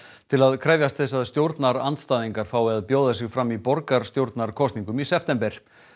til að krefjast þess að stjórnarandstæðingar fái að bjóða sig fram í borgarstjórnarkosningum í september